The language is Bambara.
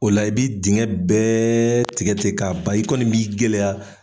O la i bɛ dingɛ bɛɛ tigɛ tigɛ k'a ban i kɔni b'i gɛlɛya